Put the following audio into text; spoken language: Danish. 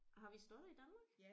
Har vi slotte i Danmark?